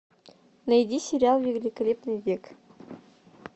найди сериал великолепный век